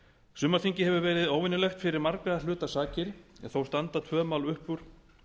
sumarþingið hefur verið óvenjulegt fyrir margra hluta sakir þó standa tvö mál upp úr